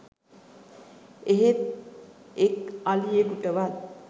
එහෙත් එක් අලියකුටවත්